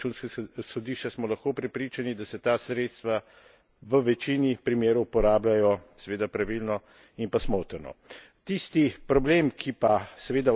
In skozi tudi poročilo Evropskega računskega sodišča smo lahko prepričani, da se ta sredstva v večini primerov uporabljajo seveda pravilno in pa smotrno.